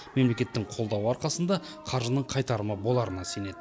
мемлекеттің қолдауы арқасында қаржының қайтарымы боларына сенеді